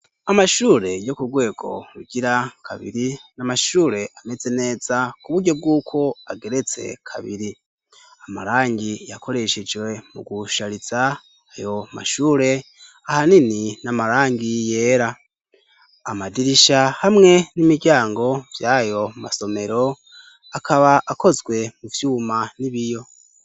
Amashure yo k'urwego rugira kabiri n'amashure ameze neza ku buryo bw'uko ageretse kabiri amarangi yakoreshejwe mu gusharitsa ayo mashure ahanini n'amarangi yera amadirisha hamwe n'imiryango vy'ayo masomero akaba akozwe mu vyuma n'ibiyo.